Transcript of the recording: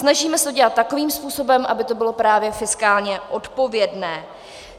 Snažíme se to dělat takovým způsobem, aby to bylo právě fiskálně odpovědné.